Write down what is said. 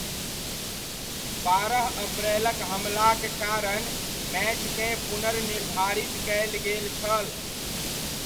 बारह अप्रैलक हमलाक कारण मैचकेँ पुनर्निर्धारित कयल गेल छल।